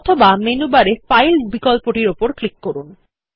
অথবা মেনু বারে ফাইল বিকল্প টির উপর ক্লিক করুন